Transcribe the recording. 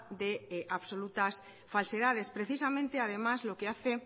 de absolutas falsedades precisamente además lo que hace